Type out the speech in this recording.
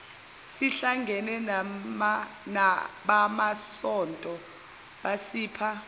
sihlangene nabamasonto basipha